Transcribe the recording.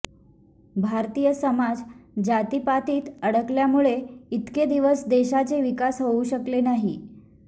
भारतीय समाज जातीपातीत अडकल्यामुळेच इतके दिवस देशाचे विकास होऊ शकले नाही